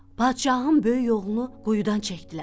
Padşahın böyük oğlunu quyudan çəkdilər.